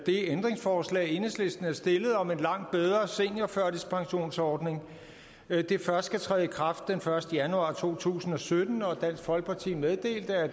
ændringsforslag enhedslisten havde stillet om en langt bedre seniorførtidspensionsordning først skal træde i kraft den første januar to tusind og sytten og dansk folkeparti meddelte at